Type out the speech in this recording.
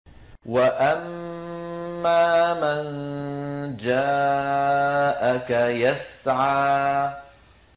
وَأَمَّا مَن جَاءَكَ يَسْعَىٰ